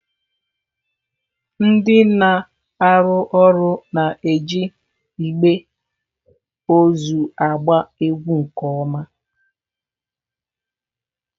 Ndị na-arụ ọrụ na-eji igbe ozu agba egwu nke ọma.